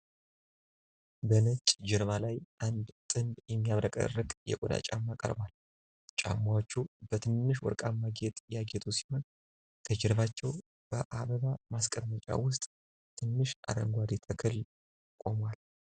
በነጭ ጀርባ ላይ አንድ ጥንድ የሚያብረቀርቅ የቆዳ ጫማ ቀርቧል። ጫማዎቹ በትንንሽ ወርቃማ ጌጥ ያጌጡ ሲሆን፣ ከጀርባቸው በአበባ ማስቀመጫ ውስጥ ትንሽ አረንጓዴ ተክል ቆሟል።